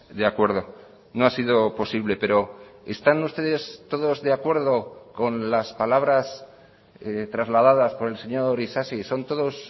de acuerdo no ha sido posible pero están ustedes todos de acuerdo con las palabras trasladadas por el señor isasi son todos